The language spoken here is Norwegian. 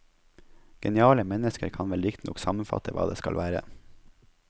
Geniale mennesker kan vel riktignok sammenfatte hva det skal være.